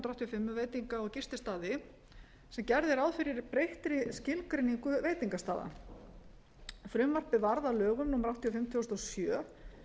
fimm um veitinga og gististaði sem gerði ráð fyrir breyttri skilgreiningu veitingastaða frumvarpið varð að lögum númer áttatíu og fimm tvö þúsund og sjö